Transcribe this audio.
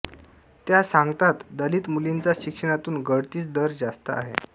त्या सांगतात दलित मुलींचा शिक्षणातून गळतीच दर जास्त आहे